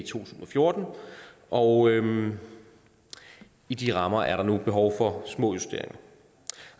tusind og fjorten og i de rammer er der nu behov for små justeringer